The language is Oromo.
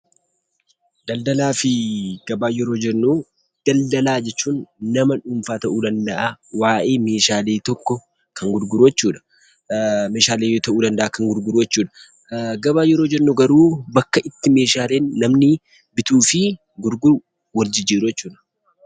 Daldalaa fi Gabaa yeroo jennu daldalaa jechuun nama dhuunfaa ta'uu danda’a, waa'ee meeshaalee tokko kan gurguru jechuudha. Meeshaalee ta'uu danda’a kan gurguru jechuudha. Gabaa yeroo jennu garuu bakka itti meeshaaleen namni bituu fi gurguru, wal jijjiiru jechuudha.